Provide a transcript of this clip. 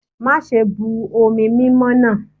Mase bu omi mimo na!